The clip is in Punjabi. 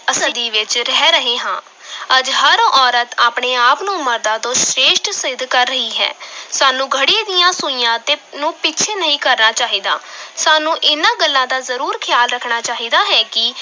ਸਦੀ ਵਿੱਚ ਰਹਿ ਰਹੇ ਹਾਂ ਅੱਜ ਹਰ ਔਰਤ ਆਪਣੇ ਆਪ ਨੂੰ ਮਰਦਾਂ ਤੋਂ ਸ੍ਰੇਸ਼ਠ ਸਿੱਧ ਕਰ ਰਹੀ ਹੈ ਸਾਨੂੰ ਘੜੀ ਦੀਆਂ ਸੂਈਆਂ ਤੇ ਨੂੰ ਪਿੱਛੇ ਨਹੀਂ ਕਰਨਾ ਚਾਹੀਦਾ ਸਾਨੂੰ ਇਹਨਾਂ ਗੱਲਾਂ ਦਾ ਜ਼ਰੂਰ ਖਿਆਲ ਰੱਖਣਾ ਚਾਹੀਦਾ ਹੈ ਕਿ